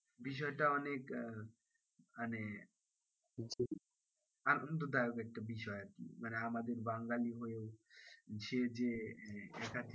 বিষয়টা অনেক আহ মানে আনন্দদায়ক একটা বিষয় আরকি মানে আমাদের বাঙালি হয়েও সে যে একাধিক,